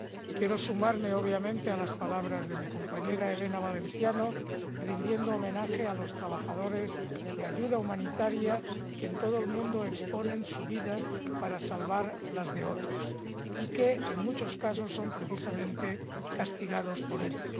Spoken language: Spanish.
Quiero sumarme, obviamente, a las palabras de mi compañera Elena Valenciano, rindiendo homenaje a los trabajadores de ayuda humanitaria que en todo el mundo exponen su vida para salvar las de otros y que, en muchos casos, son precisamente castigados por ello.